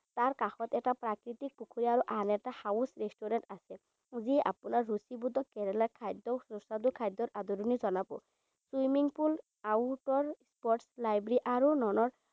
তাৰ কাষত এটা প্ৰাকৃতিক পুখুৰী আৰু আন এটা house restaurant আছে। যি আপোনাৰ ৰুচিবোধক কেৰেলাৰ খাদ্যক সুস্বাদু খাদ্যৰ আদৰণি জনাব। Swimming pool, outer sports library আৰু lawn ৰ